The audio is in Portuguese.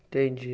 Entendi.